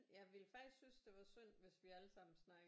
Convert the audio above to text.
Jeg ville faktisk synes det var synd hvis vi allesammen snakkede